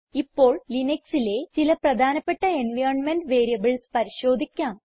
ഇപ്പോൾ ലിനക്സിലെ ചില പ്രധാനപ്പെട്ട എൻവൈറൻമെന്റ് വേരിയബിൾസ് പരിശോധിക്കാം